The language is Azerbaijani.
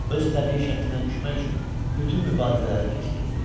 Öz təbii şəklinə düşmək üçün bütün mübarizələri keçirirdi.